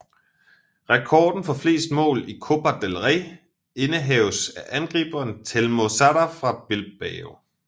Rekorden for flest mål i Copa Del Rey indehaves af angriberen Telmo Zarra fra Bilbao